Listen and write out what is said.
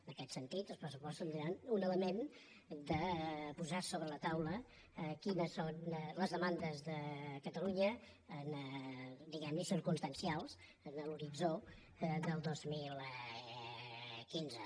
en aquest sentit els pressupostos tindran un element de posar sobre la taula quines són les demandes de catalunya diguem ne circumstancials en l’horitzó del dos mil quinze